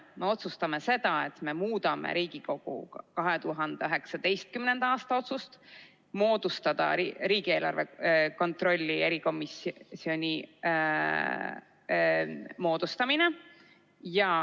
Me otsustame seda, et me muudame Riigikogu 2019. aasta otsust moodustada riigieelarve kontrolli erikomisjon.